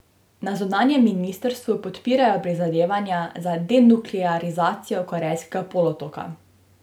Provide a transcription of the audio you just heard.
Na zunanjem ministrstvu podpirajo prizadevanja za denuklearizacijo Korejskega polotoka.